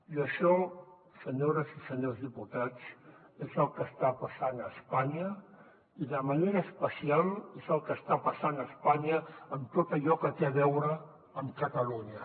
i això senyores i senyors diputats és el que està passant a espanya i de manera especial és el que està passant a espanya en tot allò que té a veure amb catalunya